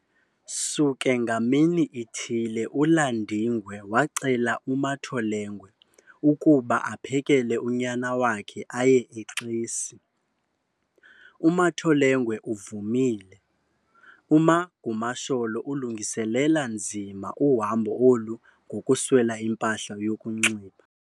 Suke ngamini ithile uLandingwe wacela uMatholengwe ukuba apheleke unyana wakhe aye eXesi. uMatholengwe uvumile, UMagumasholo ulungiselele nzima uhambo olu ngokuswela impahla yokunxiba.